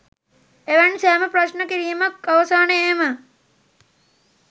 එවන් සෑම ප්‍රශ්න කිරීමක් අවසානයේම